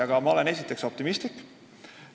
Aga esiteks olen ma optimistlik.